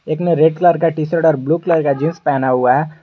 एक ने red colour का टी शर्ट और ब्लू कलर का जींस पहना हुआ है।